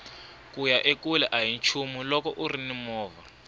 kuya ekule ahi nchumu loko urini movha